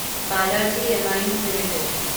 Balaji amines limited